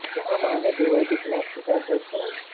जहां मां ने देवर के खिलाफ शिकायत दर्ज कराई